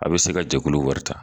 A bɛ se ka jɛkulu wari ta